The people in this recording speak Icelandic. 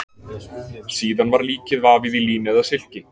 síðan var líkið vafið í lín eða silki